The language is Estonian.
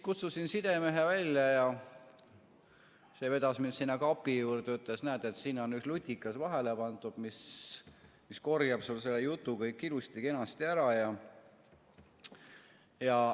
Kutsusin siis sidemehe välja ja see vedas mind sinna kapi juurde ja ütles, et näed, siin on üks lutikas vahele pandud, mis korjab sul selle jutu kõik ilusti-kenasti ära.